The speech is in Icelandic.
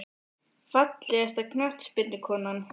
Fallegasta knattspyrnukonan?